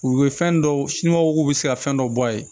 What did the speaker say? U bɛ fɛn dɔ siniw k'u bɛ se ka fɛn dɔ bɔ a ye